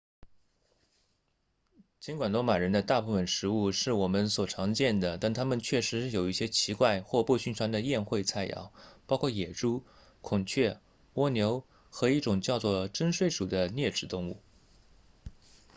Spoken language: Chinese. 尽管罗马人的大部分食物是我们所常见的但他们确实有一些奇怪或不寻常的宴会菜肴包括野猪孔雀蜗牛和一种叫做榛睡鼠的啮齿动物